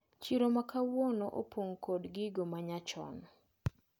Chiro makawauono opong` kod gigo manyachon.